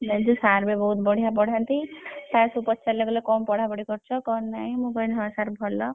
ଜାଣିଛୁ sir ବି ବହୁତ ବଢିଆ ପଢାନ୍ତି। sir ସବୁ ପଚାରିଲେ କହିଲେ କଣ ପଢାପଢି କରୁଛ କଣ ନାହିଁ ମୁଁ କହିଲି ହଁ sir ଭଲ।